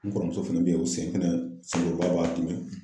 N kɔrɔmuso fɛnɛ beyi o sen senkuruba b'a dimi.